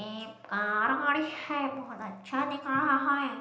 एक कार खड़ी है बहुत अच्छा दिख रहा है।